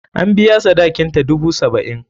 An biya sadakinta, dubu saba'in.